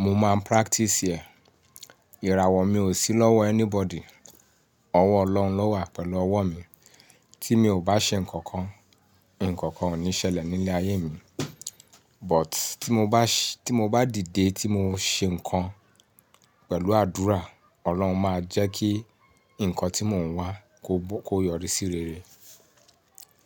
mo máa practice ẹ̀. Ìràwọ̀ mi ò sí lọ́wọ́ anybody, ọwọ́ Ọlọ́run ló wà pẹ̀lú ọwọ́ mi. Tí mi ò bá ṣe nǹkan, nǹkan ò ní ṣẹlẹ̀ ní ilé ayé mi. But tí mo bá ṣe-- tí mo bá dìde tí mo ṣe nǹkan pẹ̀lú àdúrà, Ọlọ́run máa jẹ́ kí nǹkan tí mò ń wá kó yọrí sí rere.